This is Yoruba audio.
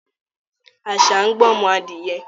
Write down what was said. Àṣà ń gbọ́mọ adìẹ